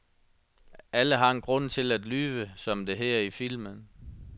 Alle har en grund til at lyve, som det hedder i filmen.